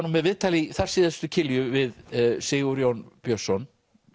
nú með viðtal í þar síðustu kilju við Sigurjón Björnsson